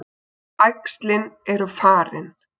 Æxlin eru farin.